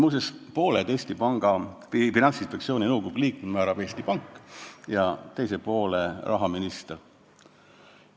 Muuseas, pooled Finantsinspektsiooni nõukogu liikmed määrab Eesti Pank ja pooled rahaminister.